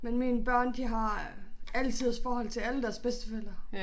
Men mine børn de har alle tiders forhold til alle deres bedsteforældre